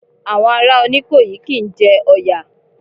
Àwọn ará Oníkòyí kí ń jẹ Ọ̀yà.